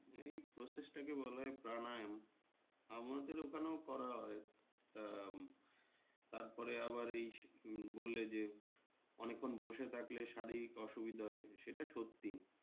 এই process টাকে বলা হয় প্রাণায়ন আমাদের ওখানেও করা হয়। তা তারপরে আবার এই বললে যে অনেক্ষন বসে থাকলে শারীরিক অসুবিধা হয় সেটা সত্যি